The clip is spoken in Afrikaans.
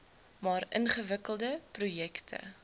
maar ingewikkelde projekte